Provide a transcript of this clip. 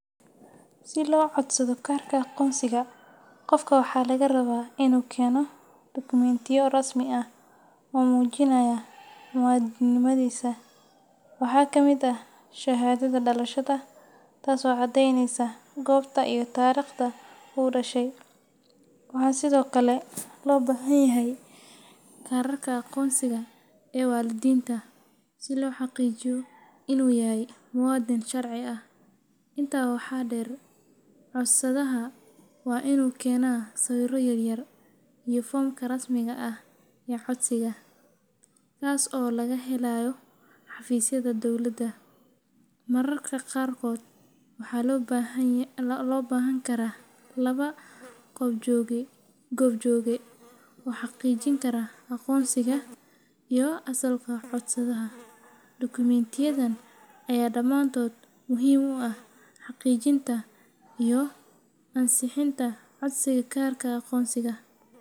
Si loo codsado kaarka aqoonsiga, qofka waxaa laga rabaa inuu keeno dukumentiyo rasmi ah oo muujinaya muwaadinnimadiisa. Waxaa ka mid ah shahaadada dhalashada, taas oo caddeyneysa goobta iyo taariikhda uu ku dhashay. Waxaa sidoo kale loo baahan yahay kaararka aqoonsiga ee waalidiinta, si loo xaqiijiyo in uu yahay muwaadin sharci ah. Intaa waxaa dheer, codsadaha waa inuu keenaa sawirro yaryar iyo foomka rasmiga ah ee codsiga, kaas oo laga helayo xafiisyada dowladda. Mararka qaarkood waxaa loo baahan karaa laba goobjooge oo xaqiijin kara aqoonsiga iyo asalka codsadaha. Dukumentiyadan ayaa dhammaantood muhiim u ah xaqiijinta iyo ansixinta codsiga kaarka aqoonsiga.